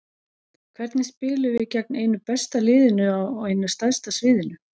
Hvernig spilum við gegn einu besta liðinu á einu stærsta sviðinu?